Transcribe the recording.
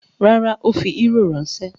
Rárá, ó fi eúrò ránṣẹ́.